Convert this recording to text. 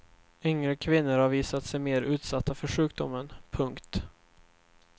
Yngre kvinnor har visat sig mer utsatta för sjukdomen. punkt